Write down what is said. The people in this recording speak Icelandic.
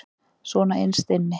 Svona innst inni.